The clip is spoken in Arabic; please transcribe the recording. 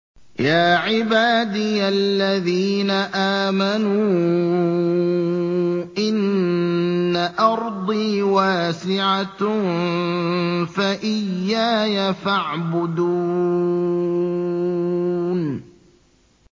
يَا عِبَادِيَ الَّذِينَ آمَنُوا إِنَّ أَرْضِي وَاسِعَةٌ فَإِيَّايَ فَاعْبُدُونِ